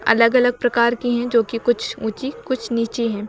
अलग अलग प्रकार की हैं जो कि कुछ ऊंची कुछ नीची हैं।